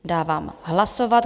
Dávám hlasovat.